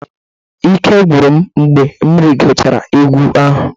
Ike gwụrụ m mgbe m rigochara ugwu ahụ.